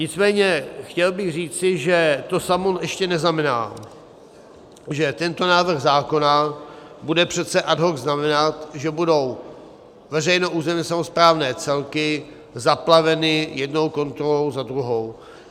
Nicméně chtěl bych říci, že to samo ještě neznamená, že tento návrh zákona bude přece ad hoc znamenat, že budou veřejné územně samosprávné celky zaplaveny jednou kontrolou za druhou.